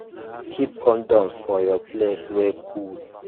keep condoms for places wey cool